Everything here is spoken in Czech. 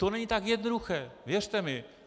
To není tak jednoduché, věřte mi.